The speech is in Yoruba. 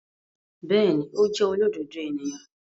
Bẹẹni, o jẹ olododo eniyan